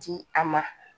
Di a ma